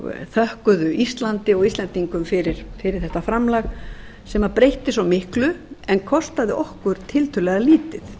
þökkuðu íslandi og íslendingum fyrir þetta framlag sem breytti svo miklu en kostaði okkur tiltölulega lítið